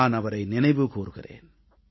நான் அவரை நினைவு கூர்கிறேன்